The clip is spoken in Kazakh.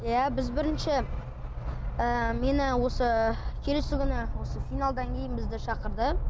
иә біз бірінші ыыы мені осы келесі күні осы финалдан кейін бізді шақырды